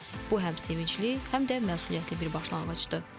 Bu həm sevincli, həm də məsuliyyətli bir başlanğıcdır.